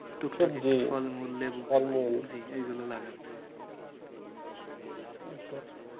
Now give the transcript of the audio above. টুকটাক একটু ফলমূল লেবু এগুলো লাগাচ্ছে। এইতো